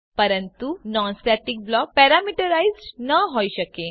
પરંતુનોન static block parameterized ન હોઈ શકે